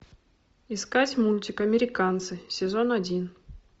искать мультик американцы сезон один